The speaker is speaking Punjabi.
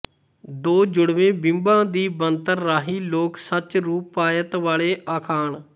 ਦੋ ਜੁੜਵੇਂ ਬਿੰਬਾਂ ਦੀ ਬਣਤਰ ਰਾਹੀਂ ਲੋਕ ਸੱਚ ਰੂਪਾਇਤ ਵਾਲੇ ਅਖਾਣ